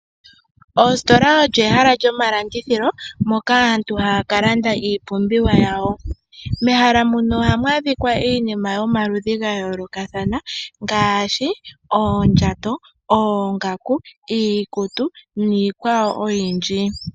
Ositola oyo ehala lyomalandithilo moka aantu haya ka landa iipumbiwa yawo. Mehala muno ohamu adhika iinima yomaludhi ga yoolokathana . Ngaashi oondjato, oongaku, iikutu niikwawo oyindji.